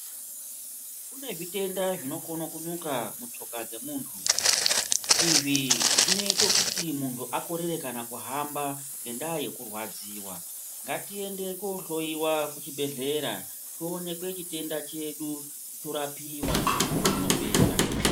Kune zvitenda zvinokona kunyuka mutsoka dzemuntu izvi zvinoita kuti muntu akorera kuhamba ngenyaya yekurwadziwa ngaitiende kohloiwa kuchibhedhlera tionekwe chitenda chedu torapiwa zvinopera.